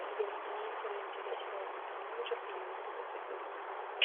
имеется ли у тебя сериал супер менеджер или мотыга судьбы